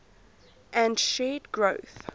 and shared growth